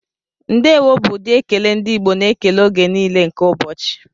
Ndewo bụ ụdị ekele ndị Igbo na-ekele oge niile nke ụbọchị.